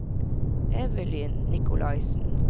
Evelyn Nikolaisen